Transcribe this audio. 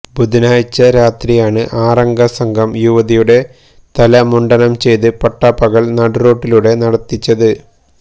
ബുധനാഴ്ച രാത്രിയാണ് ആറംഗ സംഘം യുവതിയുടെ തല മുണ്ഡനം ചെയ്ത് പട്ടാപ്പകല് നടുറോഡിലൂടെ നടത്തിച്ചത്